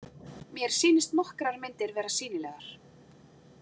Mér sýnist nokkrar myndir vera sýnilegar.